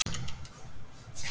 Helga: Fæst fjármagn í það?